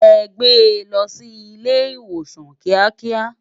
È gbé lò si ilé iwósán kiákiá